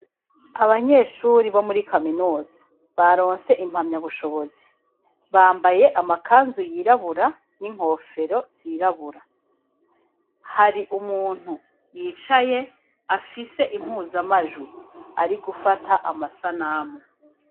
Abanyeshuri bo muri kaminozi baronse impamya bushobozi bambaye amakanzu yirabura n'inkofero zirabura hari umuntu yicaye afise impuzamajuru ari gufata amasa n'amo.